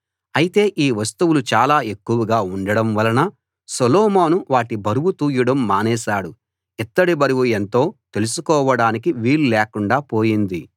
అయితే ఈ వస్తువులు చాలా ఎక్కువగా ఉండడం వలన సొలొమోను వాటి బరువు తూయడం మానేశాడు ఇత్తడి బరువు ఎంతో తెలుసుకోడానికి వీల్లేకుండా పోయింది